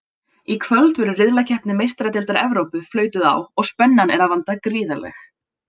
Í kvöld verður riðlakeppni Meistaradeildar Evrópu flautuð á og spennan er að vanda gríðarleg!